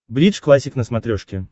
бридж классик на смотрешке